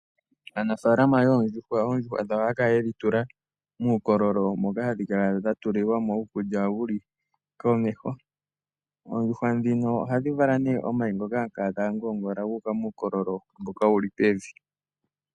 Oondjuhwa dhawo oha ya kala ye dhi tula muukololo moka ha dhi kala dha tulilwa mo uukulya wu li komeho. Oondjuhwa ndhino ohadhi vala nduno omayi ngoka ha ga ngoongola ga uka muukololo mboka wu li pevi.